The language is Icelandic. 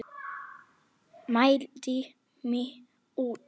Mældi mig út.